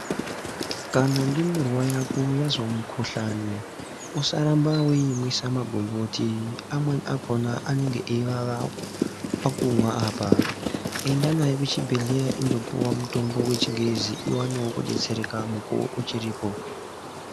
Kana ndumurwa yako yazwa mukuhlani usarambe weimwisa maboniboti amwe akona ainenge ayiwawa pakumwa apa , enda nayo kuchibhedhlera indopihwa mutombo wechingezi uwone kubetsereka muku uchiripo.